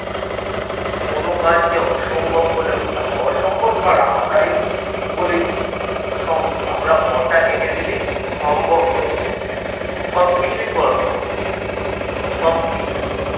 কোনো কাজকে অসম্ভব হয় না অসম্ভব কারা? আমরাই বলি কী সম্ভব আমরা অ টা কেটে দিলেই সম্ভব হয়ে যায় সব কিছুই করা সম্ভব সবকিছুই